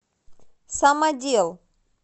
самодел